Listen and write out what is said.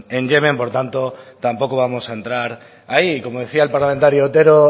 en yemen por tanto tampoco vamos a entrar ahí como decía el parlamentario otero